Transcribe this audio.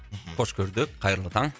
қош көрдік қайырлы таң